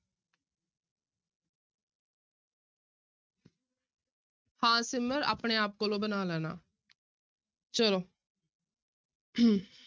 ਹਾਂ ਸਿਮਰ ਆਪਣੇ ਆਪ ਕੋਲੋਂ ਬਣਾ ਲੈਣਾ ਚਲੋ